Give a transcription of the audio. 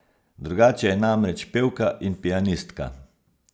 Drugače je namreč pevka in pianistka.